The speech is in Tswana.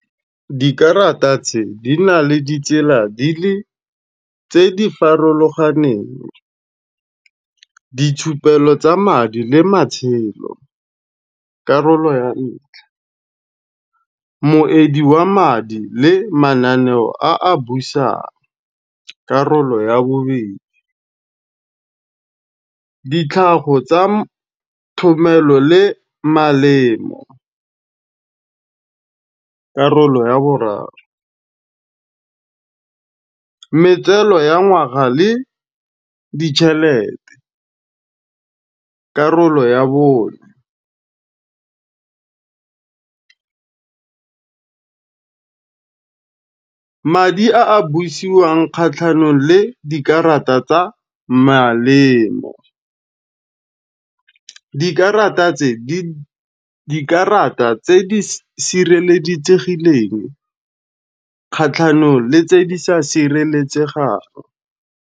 Dikarata tse, di na le ditsela di le tse di farologaneng, ditshupelo tsa madi le matshelo, karolo ya ntlha. Moedi wa madi le mananeo a a busang, karolo ya bobedi. Ditlhago tsa thomelo le malemo, karolo ya boraro. Metseno ya ngwaga le ditšhelete, karolo ya bone. Madi a a busiwang kgatlhanong le dikarata tsa malemo. Dikarata tse di kgatlhanong le tse di sa sireletsegang.